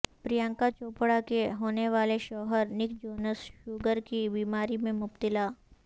پرینکا چوپڑا کے ہونیوالے شوہر نک جونز شوگر کی بیماری میں مبتلا